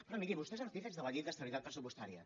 però miri vostè és artífex de la llei d’estabilitat pressupostària